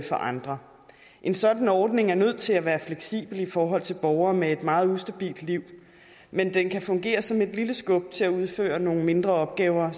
andre en sådan ordning er nødt til at være fleksibel i forhold til borgere med et meget ustabilt liv men den kan fungere som et lille skub til at udføre nogle mindre opgaver